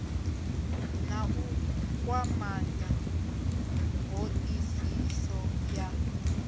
na u kwamanya hoisiso ya